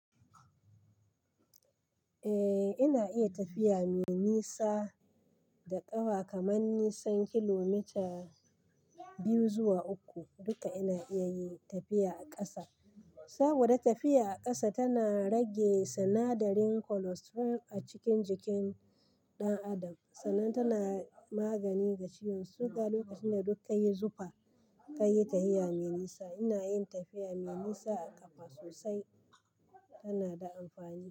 Eh, ina iya tafiya mai nisa da ƙafa. Kamar nisan kilomita biyu zuwa uku duka ina iya yi tafiya a ƙasa. Saboda tafiya a ƙasa tana rage sinadarin cholesterol a cikin jikin ɗan adam sannan tana magani ga ciwon suga. Lokacin da dukka yi zufa ka yi tafiya mai nisa. Ina yin tafiya mai nisa a ƙafa sosai, tana da amfani.